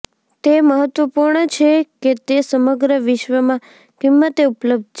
તે મહત્વપૂર્ણ છે કે તે સમગ્ર વિશ્વમાં કિંમતે ઉપલબ્ધ છે